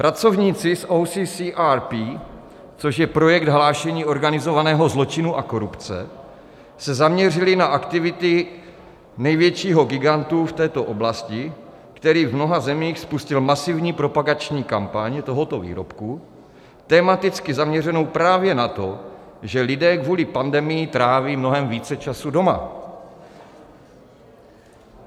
Pracovníci z OCCRP, což je Projekt hlášení organizovaného zločinu a korupce, se zaměřili na aktivity největšího gigantu v této oblasti, který v mnoha zemích spustil masivní propagační kampaň tohoto výrobku, tematicky zaměřenou právě na to, že lidé kvůli pandemii tráví mnohem více času doma.